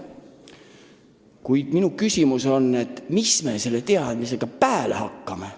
Kuid minu küsimus on, mis me selle teadmisega pääle hakkame.